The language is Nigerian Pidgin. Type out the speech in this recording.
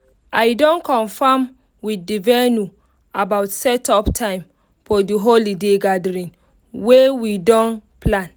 i don confirm with the venue about setup time for the holiday gathering wey we don plan